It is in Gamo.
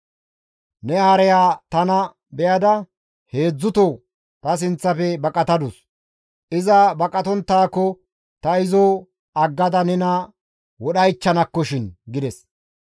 Ne hareya tana be7ada heedzdzuto ta sinththafe baqatadus; iza baqatonttaako ta izo aggada nena wodhaychchanakkoshin» gides.